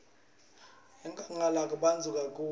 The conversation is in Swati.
enkhangala kubandza kakhulu